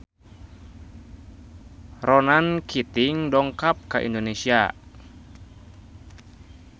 Ronan Keating dongkap ka Indonesia